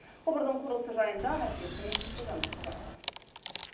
құбырдың құрылысы жайында әріптесім гүлжан марқабаева